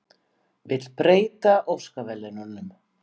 Vill breyta Óskarsverðlaununum